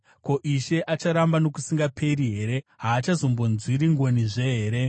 “Ko, Ishe acharamba nokusingaperi here? Haachazombonzwiri ngonizve here?